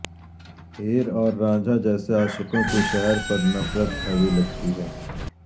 ہیر اور رانجھا جیسے عاشقوں کے شہر پر نفرت حاوی لگتی ہے